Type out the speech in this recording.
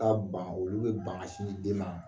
Ka ban olu bɛ ban ka sin di den ma